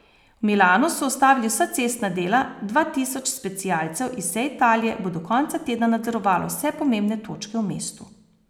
V Milanu so ustavili vsa cestna dela, dva tisoč specialcev iz vse Italije bo do konca tedna nadzorovalo vse pomembne točke v mestu.